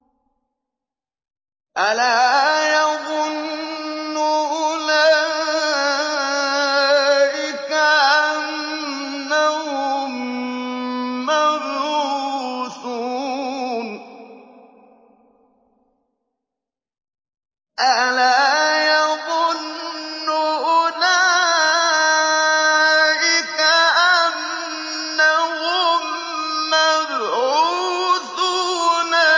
أَلَا يَظُنُّ أُولَٰئِكَ أَنَّهُم مَّبْعُوثُونَ